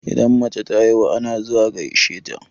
Idan mace ta haihu ana zuwa gaishe ta.